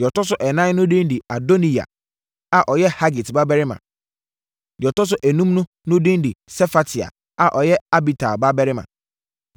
Deɛ ɔtɔ so ɛnan no din de Adoniya a ɔyɛ Hagit babarima; deɛ ɔtɔ so enum no din de Sefatia a ɔyɛ Abital babarima.